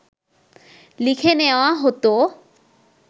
লিখে নেওয়া হত